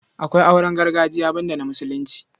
Akwai auren gargajiya banda na Musulunci.